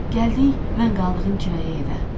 Gəldik, mən qaldığım kirayə evə.